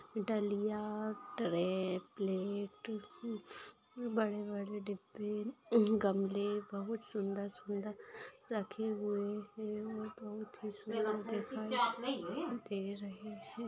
डलिया tray plate बड़े बड़े डिब्बे अहम गमले बहुत सुंदर सुंदर रखे हुए है और बहुत ही सुंदर दिखाई दे रही है।